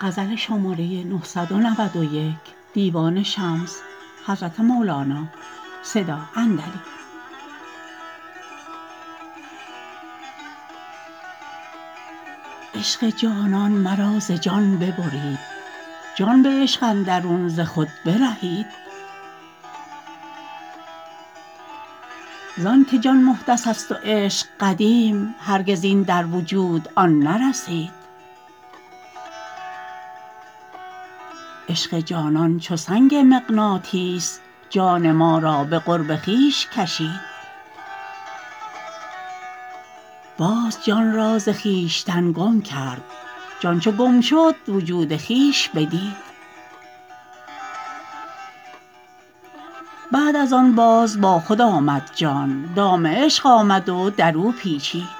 عشق جانان مرا ز جان ببرید جان به عشق اندرون ز خود برهید زانک جان محدثست و عشق قدیم هرگز این در وجود آن نرسید عشق جانان چو سنگ مغناطیس جان ما را به قرب خویش کشید باز جان را ز خویشتن گم کرد جان چو گم شد وجود خویش بدید بعد از آن باز با خود آمد جان دام عشق آمد و در او پیچید